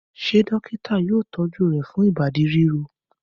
Ṣé dọ́kítá yóò tọ́jú rẹ̀ fún ìbádí ríro?